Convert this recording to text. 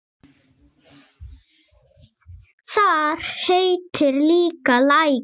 Þar heitir líka Lækur.